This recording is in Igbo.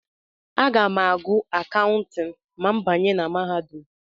Aga m ágụ̀ Akawntịn ma m banye na mahadum.